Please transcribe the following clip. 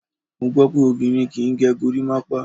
Mo gbó pé obìnrin kí ń gẹ gorímápá.